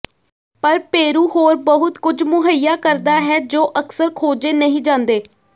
ਪਰ ਪੇਰੂ ਹੋਰ ਬਹੁਤ ਕੁਝ ਮੁਹੱਈਆ ਕਰਦਾ ਹੈ ਜੋ ਅਕਸਰ ਖੋਜੇ ਨਹੀਂ ਜਾਂਦੇ